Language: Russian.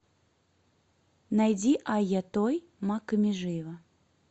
найди айъа той макка межиева